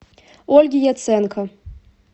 ольге яценко